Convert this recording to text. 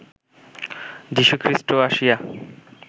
যীশুখৃষ্ট আসিয়া